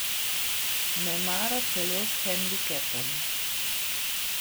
Nemara celo s hendikepom.